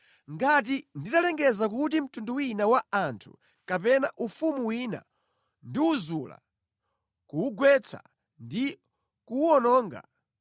Ngati nditalengeza kuti mtundu wina wa anthu kapena ufumu wina ndiwuzula, kuwugwetsa ndi kuwuwononga,